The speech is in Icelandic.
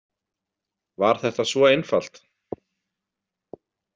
Var þetta svo einfalt?